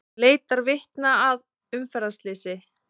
Leitar vitna að umferðarslysi